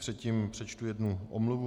Předtím přečtu jednu omluvu.